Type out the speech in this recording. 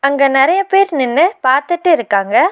அங்க நறைய பேர் நின்னு பாத்திட்டு இருக்காங்க.